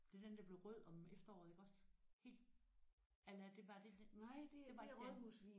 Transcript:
Det var den der blev rød om efteråret iggås? Helt? Eller det var det det det var ikke den?